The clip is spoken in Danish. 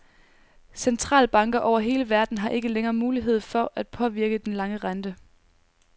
Centralbanker over hele verden har ikke længere mulighed for at påvirke den lange rente.